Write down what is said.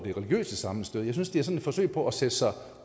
det religiøse sammenstød jeg synes det er sådan et forsøg på at sætte sig